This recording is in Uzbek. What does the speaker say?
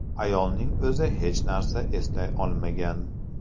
Ayolning o‘zi hech narsani eslay olmagan.